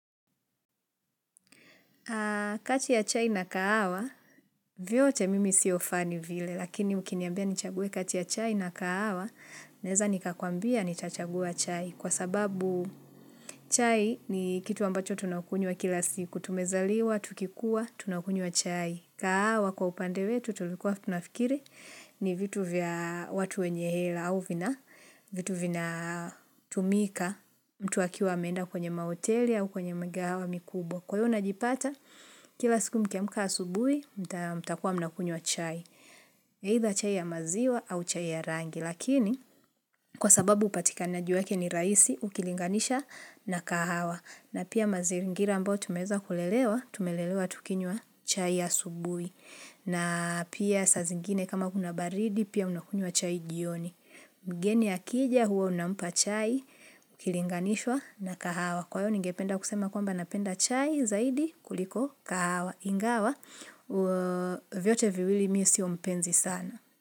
Kati ya chai na kahawa, vyote mimi sio fani vile, lakini ukiniambia nichague kati ya chai na kahawa, naeza nikakuambia nitachagua chai kwa sababu chai ni kitu ambacho tunakunywa kila siku, tumezaliwa, tukikua, tunakunywa chai. Kahawa kwa upande wetu tulikuwa tunafikiri ni vitu vya watu wenye hela au vina vitu vinatumika mtu akiwa ameenda kwenye mahoteli au kwenye mgahawa mikubwa. Kwa hio najipata, kila siku mkiamka asubuhi, mtakuwa mnakunywa chai. Either chai ya maziwa au chai ya rangi. Lakini kwa sababu upatikanaji wake ni rahisi ukilinganisha na kahawa. Na pia mazingira ambao tumeweza kulelewa, tumelelewa tukinywa chai ya asubuhi. Na pia saa zingine kama kuna baridi pia unakunywa chai jioni. Mgeni akija huwa unampa chai, ukilinganishwa na kahawa. Kwa hio ningependa kusema kwamba napenda chai zaidi kuliko kahawa. Ingawa, vyote viwili mi sio mpenzi sana.